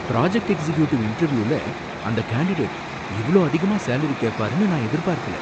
Project executive இன்டர்வியூல அந்த candidate இவ்ளோ அதிகமா சேலரி கேப்பாருன்னு நான் எதிர்பார்க்கல!